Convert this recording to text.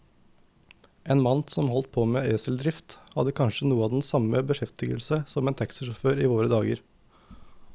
En mann som holdt på med eseldrift, hadde kanskje noe av den samme beskjeftigelse som en taxisjåfør i våre dager.